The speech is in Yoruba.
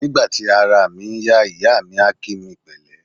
Nígbà tí araà mi ń yá, ìyáà mi a kí mi pẹ̀lẹ́.